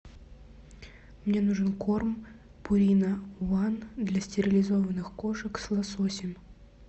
мне нужен корм пурина ван для стерилизованных кошек с лососем